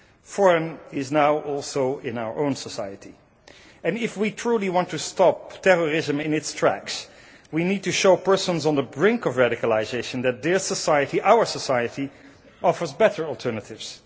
Foreign is now also in our own society, and if we truly want to stop terrorism in its tracks we need to show persons on the brink of radicalisation that their society, our society, offers better alternatives.